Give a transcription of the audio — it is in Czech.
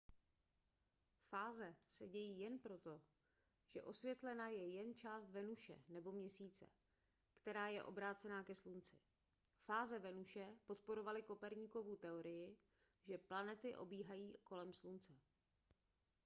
fáze se dějí jen proto že osvětlena je jen část venuše nebo měsíce která je obrácená ke slunci. fáze venuše podporovaly koperníkovu teorii že planety obíhají kolem slunce